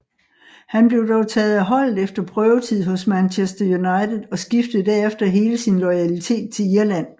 Han blev dog taget af holdet efter prøvetid hos Manchester United og skiftede derefter hele sin loyalitet til Irland